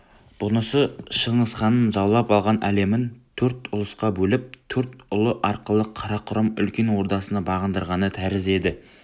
бұнысы шыңғысханның жаулап алған әлемін төрт ұлысқа бөліп төрт ұлы арқылы қарақұрым үлкен ордасына бағындырғаны тәрізді еді